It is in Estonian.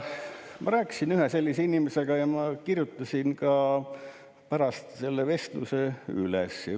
Ma rääkisin ühe sellise inimesega ja ma kirjutasin pärast selle vestluse üles.